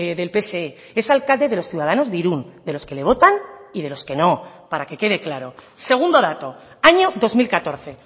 del pse es alcalde de los ciudadanos de irún de los que le votan y de los que no para que quede claro segundo dato año dos mil catorce